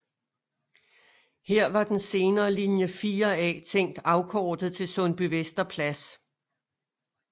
Her var den senere linje 4A tænkt afkortet til Sundbyvester Plads